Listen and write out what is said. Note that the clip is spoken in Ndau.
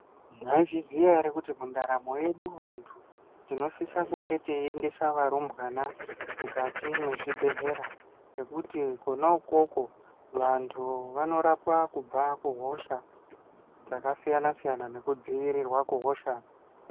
Maizviziya here kuti mundaramo yedu vanhu tinosisa kunge teiendesa varumbwana mwukati mwezvibhedlera ngekuti kona ikokoko vantu vanorapwa kubva kuhosha dzakasiyana siyana ngekudzivirirwa kubva kuhosha.